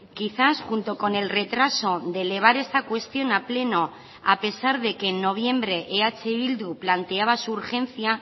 quizás junto con el retraso de elevar esta cuestión a pleno a pesar de que en noviembre eh bildu planteaba su urgencia